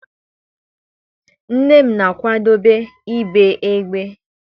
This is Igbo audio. Nne m na-akwadebe ibe eghe.